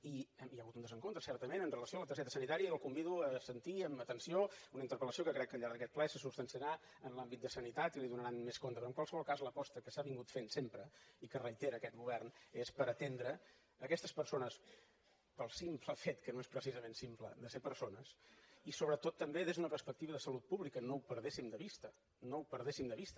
i hi ha hagut un desencontre certament amb relació a la targeta sanitària i el convido a sentir amb atenció una interpelple se substanciarà en l’àmbit de sanitat i li’n donaran més compte però en qualsevol cas l’aposta que s’ha fet sempre i que reitera aquest govern és per atendre aquestes persones pel simple fet que no és precisament simple de ser persones i sobretot també des d’una perspectiva de salut pública no ho perdéssim de vista no ho perdéssim de vista